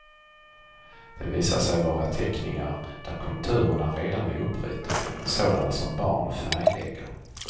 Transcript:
Det visar sig vara teckningar där konturerna redan är uppritade, sådana som barn färglägger.